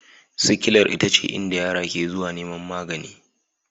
Sikilar ita ce inda yara ke zuwa neman magani